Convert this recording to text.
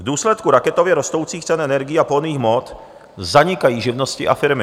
V důsledku raketově rostoucích cen energií a pohonných hmot zanikají živnosti a firmy.